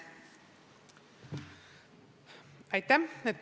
Aitäh!